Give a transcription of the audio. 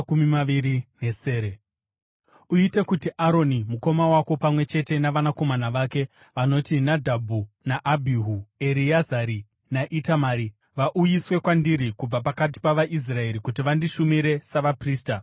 “Uite kuti Aroni mukoma wako pamwe chete navanakomana vake vanoti Nadhabhi naAbhihu, Ereazari naItamari vauyiswe kwandiri kubva pakati pavaIsraeri kuti vandishumire savaprista.